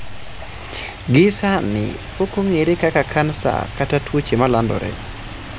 Gi sani, pokong'eye kaka kansa kata tuoche malandore